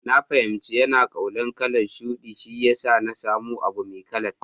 Na fahimci yana kaunar kalan shuɗi, shiyasa na samu abu Mai kalan.